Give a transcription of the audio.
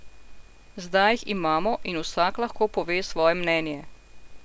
Zdaj jih imamo in vsak lahko pove svoje mnenje.